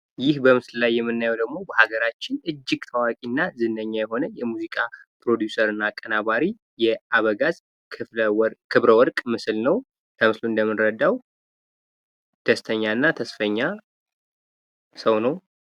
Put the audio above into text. ይህ በምስሉ ላይ የምናየው ደግሞ በሃገራችን እጅግ ታዋቂና ዝነኛ ሙዚቀኛ ፣ ፕሮዲውሰር እና አቀናባሪ የ አበጋዝ ክብረወርቅ ምስል ነው። ከምስሉ እንደምንረሳው ደስተኛና ተስፈኛ ሰው ነው።